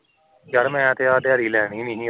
ਯਰ ਮੈਂ ਤਾਂ ਆਹ ਦਿਹਾੜੀ ਲੈਣੀ ਨਹੀਂ ਸੀ